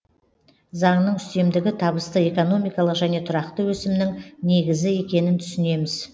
заңның үстемдігі табысты экономикалық және тұрақты өсімнің негізі екенін түсінеміз